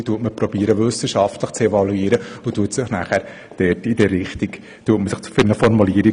Diese versucht man wissenschaftlich zu evaluieren und danach entscheidet man sich für eine Formulierung.